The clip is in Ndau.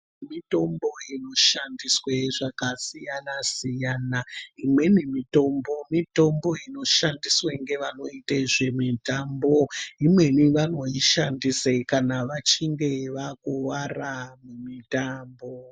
Mitombo inoshandiswe zvakasiyana siyana imweni mitombo mitombo inoshandiswe ngevanoita zvemitambo imweni vanoishandise kana vachinge vakuvara mumutambo